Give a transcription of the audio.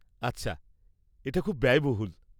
আচ্ছা। এটা খুব ব্যায়বহুল।